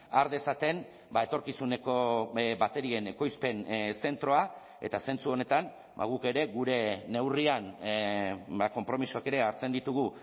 har dezaten etorkizuneko baterien ekoizpen zentroa eta zentzu honetan guk ere gure neurrian konpromisoak ere hartzen ditugu